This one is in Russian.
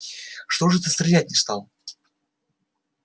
что же ты стрелять не стал